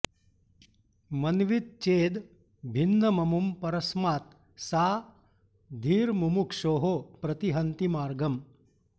मन्वीत चेद् भिन्नममुं परस्मात् सा धीर्मुमुक्षोः प्रतिहन्ति मार्गम्